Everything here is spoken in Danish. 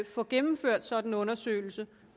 få gennemført sådan en undersøgelse